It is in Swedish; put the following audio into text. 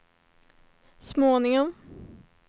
småningom